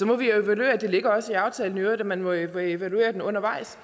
må evaluere det ligger også i aftalen at man må evaluere den undervejs